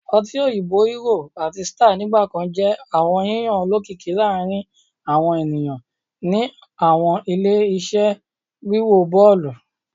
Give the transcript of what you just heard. ọtí òyìnbó Hero àti Star nigbakan jẹ awọn yiyan olokiki laarin awọn eniyan ni awọn ile-iṣẹ wiwo bọọlu